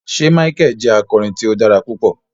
Ṣe Michael jẹ akọrin ti o dara pupọ?